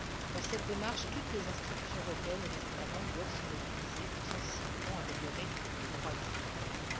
Dans cette démarche, toutes les institutions européennes et les États membres doivent se mobiliser pour améliorer sensiblement les droits des Européens.